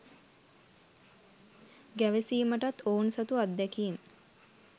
ගැවසීමටත් ඔවුන් සතු අත්දැකීම්